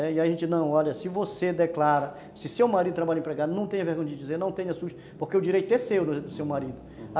E aí a gente não, olha, se você declara, se seu marido trabalha empregado, não tenha vergonha de dizer, não tenha susto, porque o direito é seu do seu marido.